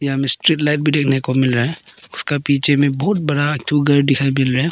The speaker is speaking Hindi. यहां में स्ट्रीट लाइट भी देखने को मिल रहा है उसका पीछे में बहुत बड़ा एक ठो घर दिखाई मिल रहा है।